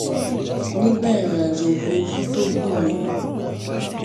nígbà ìrìn àjò òfuurufú tó gùn yẹn